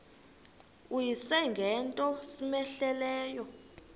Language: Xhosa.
uyise ngento cmehleleyo